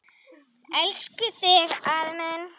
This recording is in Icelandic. Elska þig, elsku afi minn.